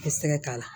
I bɛ sɛgɛ k'a la